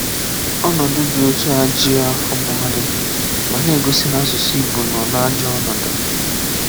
Ọnọdụ dị otu a ejughị afọ ma ọlị, ma na-egosi na asụsụ Ị̀gbò nọ n’ajọ ọnọdụ.